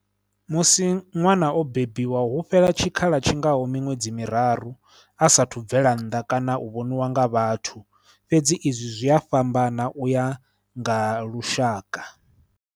Musi ṅwana o bebiwa hu fhela tshikhala tshi ngaho miṅwedzi miraru a saathu bvela nnḓa kana u vhoniwa nga vhathu, fhedzi izwi zwi a fhambana u ya nga lushaka.